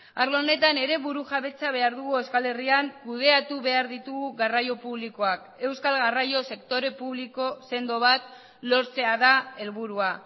arlo honetan ere burujabetza behar dugu euskal herrian kudeatu behar ditugu garraio publikoak euskal garraio sektore publiko sendo bat lortzea da helburua